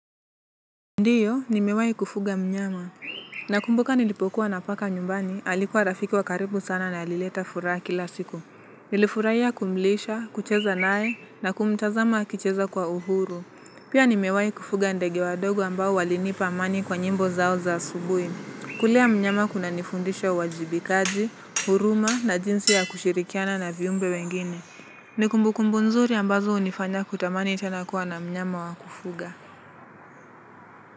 Ndiyo, nimewahi kufuga mnyama. Nakumbuka nilipokuwa na paka nyumbani, alikuwa rafiki wa karibu sana na alileta furaha kila siku. Nilifurahia kumlisha, kucheza naye na kumtazama akicheza kwa uhuru. Pia nimewahi kufuga ndege wadogo ambao walinipa amani kwa nyimbo zao za asubuhi. Kulea mnyama kunanifundisha uwajibikaji, huruma na jinsi ya kushirikiana na viumbe wengine. Ni kumbukumbu nzuri ambazo hunifanya kutamani tena kuwa na mnyama wa kufuga.